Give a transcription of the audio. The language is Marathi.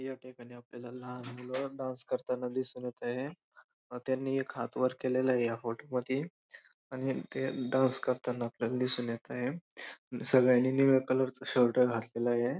या ठिकाणी आपल्याला लहान मुल डांस करताना दिसून येत आहे व त्यांनी एक हात वर केलेला आहे या फोटो मधी आणि ते डांस करताना आपल्याला दिसून येत आहे सगळ्यांनी निळ्या कलर चा शर्ट घातलेला आहे.